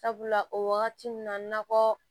Sabula o wagati nun na kɔ